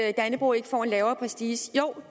at dannebrog ikke får en lavere prestige noget